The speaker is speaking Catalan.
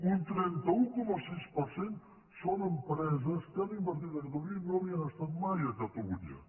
un trenta un coma sis per cent són empreses que han invertit a catalunya i no havien estat mai a catalunya